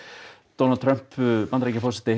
Donald Trump Bandaríkjaforseti